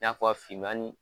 N'a fɔ finman ni jɛman.